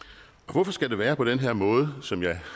hvorfor skal det være på den her måde som jeg